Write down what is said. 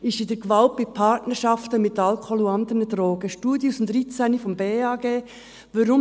Es geht um Gewalt in Partnerschaften mit Alkohol und anderen Drogen, eine Studie aus dem Jahr 2013 des Bundesamts für Gesundheit (BAG).